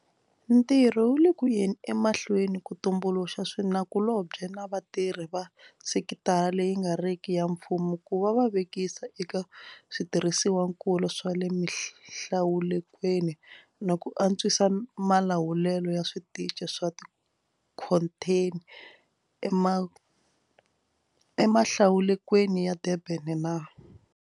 Ntirho wu le ku yeni emahlweni ku tumbuluxa swinakulobye na vatirhi va sekitara leyi nga riki ya mfumo ku va va vekisa eka switirhisiwakulu swa le mihlalukweni na ku antswisa malawulelo ya switichi swa tikhontheni emihlalukweni ya Durban na.